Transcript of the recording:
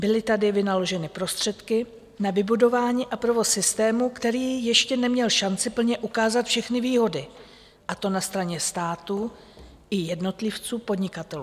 Byly tady vynaloženy prostředky na vybudování a provoz systému, které ještě neměl šanci plně ukázat všechny výhody, a to na straně státu i jednotlivců - podnikatelů.